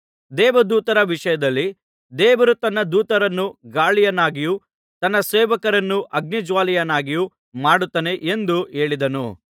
ದೇವದೂತರ ವಿಷಯದಲ್ಲಿ ದೇವರು ತನ್ನ ದೂತರನ್ನು ಗಾಳಿಯನ್ನಾಗಿಯೂ ತನ್ನ ಸೇವಕರನ್ನು ಅಗ್ನಿಜ್ವಾಲೆಯನ್ನಾಗಿಯೂ ಮಾಡುತ್ತಾನೆ ಎಂದು ಹೇಳಿದ್ದಾನೆ